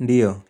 Ndiyo,